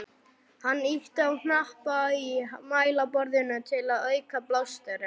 Hann ýtti á hnappa í mælaborðinu til að auka blásturinn.